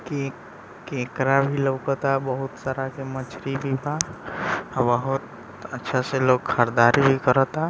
Cake केकरा भी लोकता बहुत सारा के मछली बहुत अच्छा से लोग खरीदारी भी कराता।